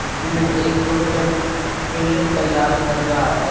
जिसमें एक doctor patient का इलाज कर रहा है।